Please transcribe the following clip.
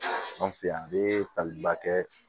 An fɛ yan an bɛ taliba kɛ